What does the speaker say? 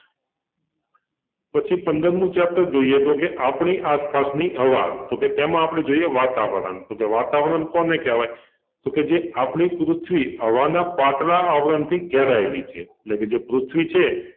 પછી પંદરમું chapter જોઈએ તો કે આપણી આસપાસની હવા તો કે તેમાં આપડે જોઈએ વાતાવરણ તો કે વાતાવરણ કોને કહેવાય? તો કે જે આપણી પૃથ્વી હવાના પાતળા આવરણથી ઘેરાયેલી છે એટલે કે જે પૃથ્વી છે